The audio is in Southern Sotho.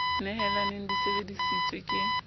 nehelanong di sebe disitswe ka